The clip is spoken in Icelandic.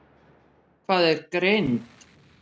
Hvað er greind?